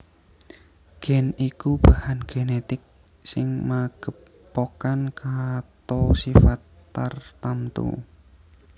Gen iku bahan genetik sing magepokan kato sifat tartamtu